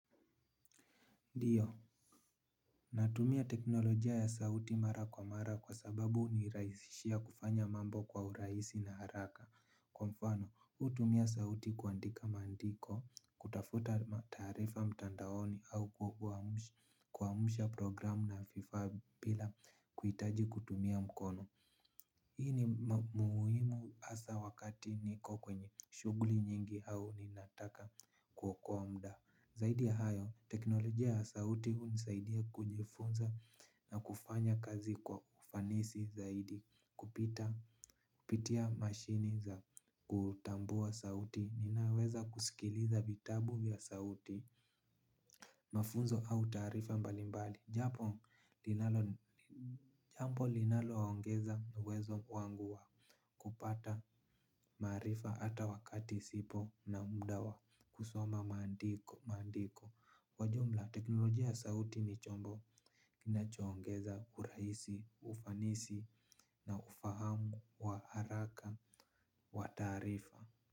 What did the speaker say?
Ndio. Natumia teknolojia ya sauti mara kwa mara kwa sababu uniraisishia kufanya mambo kwa uraisi na haraka. Kwa mfano, utumia sauti kuandika maandiko, kutafuta taarifa mtandaoni. Au kwaumsha programu na fifa bila kuitaji kutumia mkono. Hii ni muhimu hasa wakati niko kwenye shughuli nyingi, au ninataka kuokoa mda. Zaidi ya hayo, teknolojia ya sauti hu nisaidia kujifunza na kufanya kazi kwa ufanisi zaidi. Kupita pitia mashini za kutambua sauti, ninaweza kusikiliza vitabu vya sauti. Mafunzo au, taarifa mbalimbali, japo jambo linalo ongeza uwezo wangu wa kupata maarifa ata wakati sipo na muda wa, kusoma maandiko. Maandiko. Kwa jumla teknolojia ya sauti ni chombo kinachoongeza urahisi, ufanisi na ufahamu wa haraka, wa taarifa.